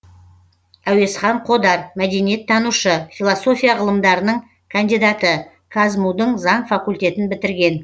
әуезхан қодар мәдениеттанушы философия ғылымдарының кандидаты қазму дың заң факультетін бітірген